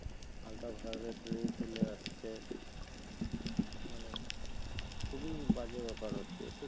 ultraviolet ray চলে আসছে মানে খুবি বাজে ব্যপার হচ্ছে এটা তো